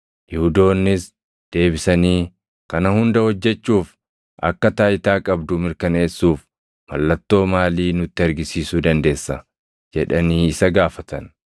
Yihuudoonnis deebisanii, “Kana hunda hojjechuuf akka taayitaa qabdu mirkaneessuuf mallattoo maalii nutti argisiisuu dandeessa?” jedhanii isa gaafatan.